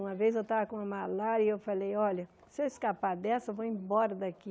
Uma vez, eu estava com uma malária e eu falei, olha, se eu escapar dessa, eu vou embora daqui.